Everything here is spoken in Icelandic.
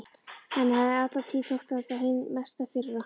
Henni hafði alla tíð þótt þetta hin mesta firra.